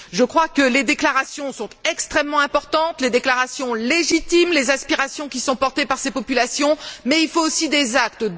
Je crois que les déclarations sont extrêmement importantes, les déclarations légitimes, les aspirations qui sont portées par ces populations, mais il faut aussi des actes.